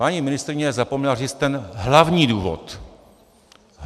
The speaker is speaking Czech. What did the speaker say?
Paní ministryně zapomněla říct ten hlavní důvod.